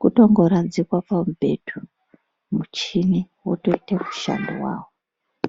kutongoradzikwa pamubhedha , mucheni wotoite mushando wawo.